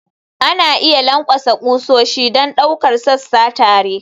Ana iya lankwasa ƙusoshi don ɗaukar sassa tare.